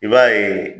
I b'a ye